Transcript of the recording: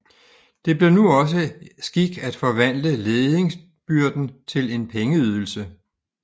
Det blev nu også skik at forvandle ledingsbyrden til en pengeydelse